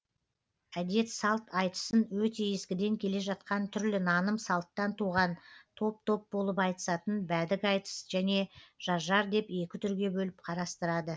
әдет салт айтысын өте ескіден келе жатқан түрлі наным салттан туған топ топ болып айтысатын бәдік айтыс және жар жар деп екі түрге бөліп қарастырады